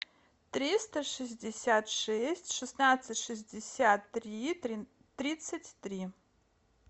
триста шестьдесят шесть шестнадцать шестьдесят три тридцать три